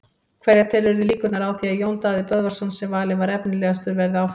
Hverja telurðu líkurnar á því að Jón Daði Böðvarsson sem valinn var efnilegastur verði áfram?